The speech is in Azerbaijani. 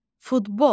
Futbol.